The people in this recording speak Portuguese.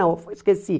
Não, foi esqueci.